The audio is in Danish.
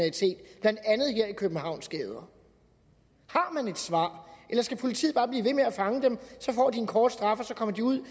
københavns gader har man et svar eller skal politiet bare blive ved med at fange dem så får de en kort straf så kommer de ud